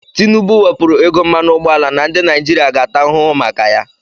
Tinubu wepụrụ ego mmanụ ụgbọala na ndị Naijiria ga-ata ahụhụ maka ya.